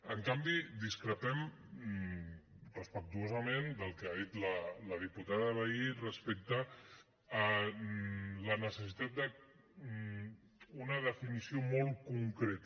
en canvi discrepem respectuosament del que ha dit la diputada vehí respecte a la necessitat d’una definició molt concreta